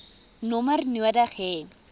nommer nodig hê